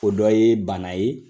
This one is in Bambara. O dɔ ye bana ye.